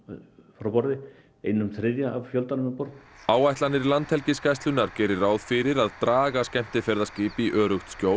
frá borði einum þriðja af fjöldanum um borð áætlanir Landhelgisgæslunnar geri ráð fyrir að draga skemmtiferðaskip í öruggt skjól